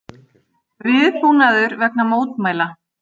Viðbúnaður vegna mótmæla